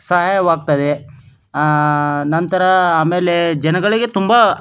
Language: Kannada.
ಸಹಾಯವಾಗುತ್ತದೆ ಆಹ್ಹ್ ನಂತರ ಆಮೇಲೆ ಜನಗಳಿಗೆ ತುಂಬ--